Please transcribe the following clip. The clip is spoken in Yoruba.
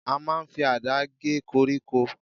A máa ń fi àdá gé koríko.